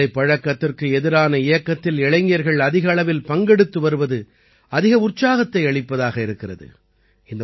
போதைப் பழக்கத்திற்கு எதிரான இயக்கத்தில் இளைஞர்கள் அதிக அளவில் பங்கெடுத்து வருவது அதிக உற்சாகத்தை அளிப்பதாக இருக்கிறது